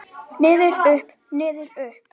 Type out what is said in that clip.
Niður, upp, niður upp.